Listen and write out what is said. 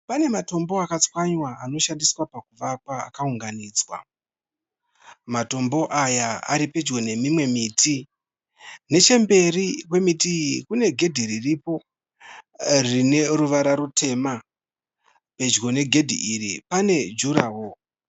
Pane matombo akatswanywa anoshandiswa pakuvaka akaunganidzwa. Matombo aya aripedyo nemimwe miti nechemberi kwemiti iyi kune gedhe ririko rine ruwara rutema. Pedyo negedhi iri pane juraworo.